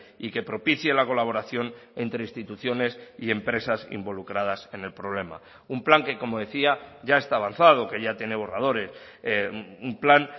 y que propicie la colaboración entre instituciones y empresas involucradas en el problema un plan que como decía ya está avanzado que ya tiene borradores un plan